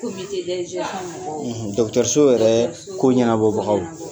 Ko bi tɛ ; Dɔgutɛriso yɛrɛ; Dɔgutɛriso; ko ɲɛnabɔbagaw; ko ɲɛnabɔbagaw